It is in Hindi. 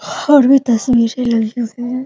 और भी दस लड़कियों से है ।